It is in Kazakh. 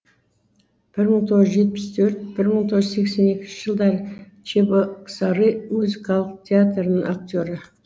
бір мың тоғыз жүз жетпіс төрт бір мың тоғыз жүз сексен екінші жылдары чебоксары музыкалық театрының актері